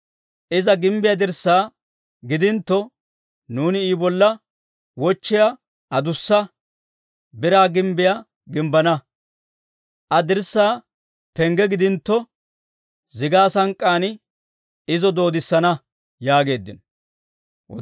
Iza gimbbiyaa dirssaa gidintto, nuuni I bolla wochchiyaa adussa, biraa gimbbiyaa gimbbana; Aa dirssaa pengge gidintto, zigaa sank'k'aan izo doodissana yaageeddino.